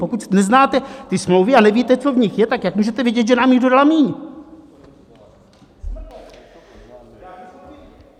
Pokud neznáte ty smlouvy a nevíte, co v nich je, tak jak můžete vědět, že nám jich dodala míň?